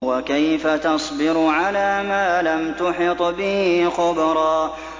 وَكَيْفَ تَصْبِرُ عَلَىٰ مَا لَمْ تُحِطْ بِهِ خُبْرًا